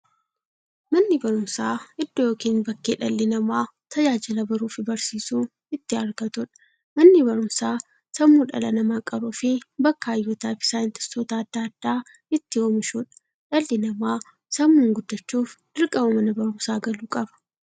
Manni baruumsaa iddoo yookiin bakkee dhalli namaa tajaajila baruufi barsiisuu itti argatuudha. Manni baruumsaa sammuu dhala namaa qaruufi bakka hayyootafi saayintistoota adda addaa itti oomishuudha. Dhalli namaa sammuun gufachuuf, dirqama Mana baruumsaa galuu qaba.